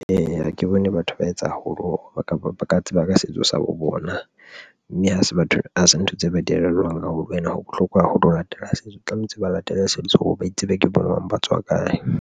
Eya, ha ke bone batho ba etsa haholo, kapa ba ka tseba ka setso sa bo bona mme ha se batho hase ntho tse ba elellwang haholo and ho bohlokwa haholo ho latela setso, tlamehetse ba latele setso hore ba itsebe. Ke bo mang ba tswa kae?